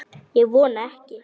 Ég vona ekki